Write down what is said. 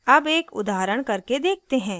अब एक उदाहरण करके देखते हैं